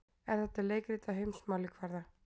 Er þetta leikrit á heimsmælikvarða?